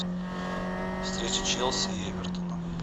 встреча челси и эвертона